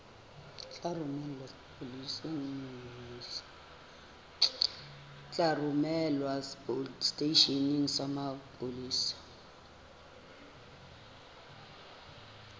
tla romelwa seteisheneng sa mapolesa